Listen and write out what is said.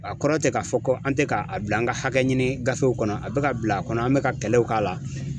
A kɔrɔ tɛ k'a fɔ ko an tɛ ka a bila an ka hakɛ ɲini gafew kɔnɔ a be ka bila a kɔnɔ an be ka kɛlɛw k'a la